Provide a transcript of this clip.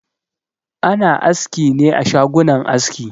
Ana askine a shagunan aski.